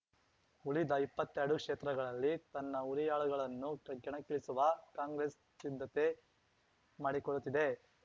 ಉಳಿದ ಇಪ್ಪತ್ತೆರಡು ಕ್ಷೇತ್ರಗಳಲ್ಲಿ ತನ್ನ ಹುರಿಯಾಳುಗಳನ್ನು ಕ್ ಕೆಣಕ್ಕಿಳಿಸುವ ಕಾಂಗ್ರೆಸ್ ಸಿದ್ಧತೆ ಮಾಡಿಕೊಳ್ಳುತ್ತಿದೆ